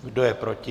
Kdo je proti?